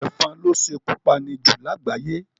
Èfon lo sékú pani jù lágbàyé